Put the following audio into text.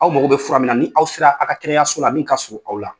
Aw mago bɛ fura min na ni aw sera a ka kɛnɛyaso la min ka surun aw la.